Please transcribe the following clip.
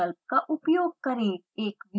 एक viewing window खुलती है